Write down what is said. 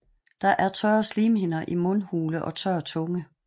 Der er tørre slimhinder i mundhule og tør tunge